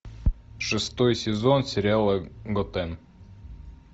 шестой сезон сериала готэм